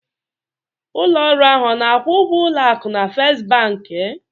Ụlọ ọrụ ahụ ọ na-akwụ ụgwọ ụlọ akụ na First Bank?